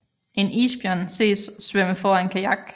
En isbjørn ses svømme foran kajak